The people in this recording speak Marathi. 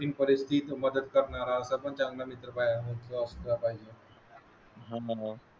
मदत करणार असं पण चांगला मित्र पाहिजे. हम्म